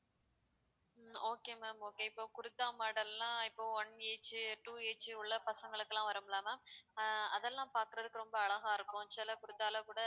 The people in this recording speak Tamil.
உம் okay ma'am okay இப்ப kurta model லாம் இப்போ one age உ two age உ உள்ள பசங்களுக்கெல்லாம் வரும்ல ma'am அதெல்லாம் பாக்குறதுக்கு ரொம்ப அழகா இருக்கும் சில குடுத்தாலும் கூட